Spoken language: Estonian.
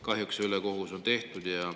Kahjuks on see ülekohus tehtud.